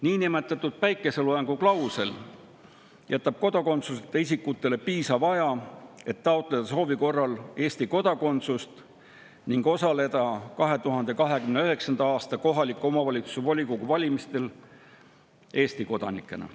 Niinimetatud päikeseloojanguklausel jätab kodakondsuseta isikutele piisava aja, et taotleda soovi korral Eesti kodakondsust ning osaleda 2029. aasta kohaliku omavalitsuse volikogu valimistel Eesti kodanikena.